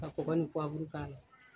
A kɔkɔ ni k'a la.